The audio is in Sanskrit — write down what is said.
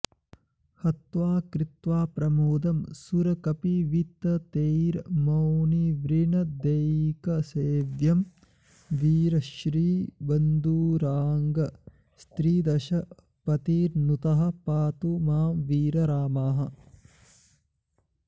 हत्वा कृत्वा प्रमोदं सुरकपिविततेर्मौनिवृन्दैकसेव्यं वीरश्रीबन्धुराङ्गस्त्रिदशपतिनुतः पातु मां वीररामः